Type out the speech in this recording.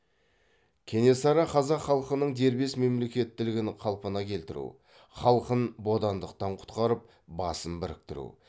кенесары қазақ халқының дербес мемлекеттілігін қалпына келтіру халқын бодандықтан құтқарып басын біріктіру